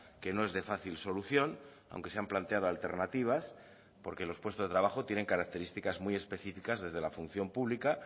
que no es de fácil solución aunque se han planteado alternativas porque los puestos de trabajo tienen características muy específicas desde la función pública